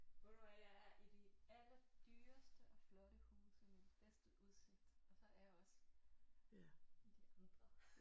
Ved du hvad jeg er i de allerdyreste og flotte huse med den bedste udsigt og så er jeg også i de andre